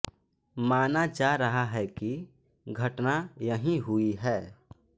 माना जा रहा है कि घटना यहीं हुई है